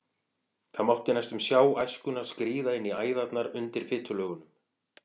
Það mátti næstum sjá æskuna skríða inn í æðarnar undir fitulögunum.